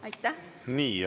Aitäh!